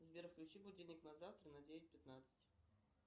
сбер включи будильник на завтра на девять пятнадцать